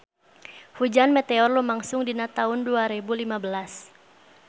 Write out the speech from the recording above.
Hujan meteor lumangsung dina taun dua rebu lima belas